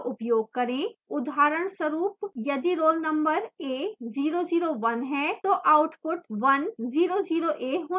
उदाहरणस्वरूप यदि roll number a001 है तो output 100a होना चाहिए